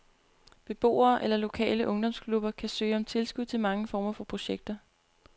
Beboere eller lokale ungdomsklubber kan søge om tilskud til mange former for projekter.